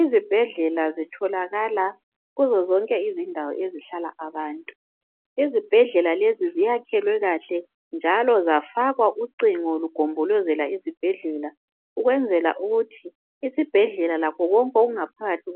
Izibhedlela zitholakala kuzindawo zonke ezihlala abantu , izibhedlela lezi ziyakhwe kahle njalo zafakwa ucingo zigombolozela lezo zibhedlela lakho konke okungaphakathi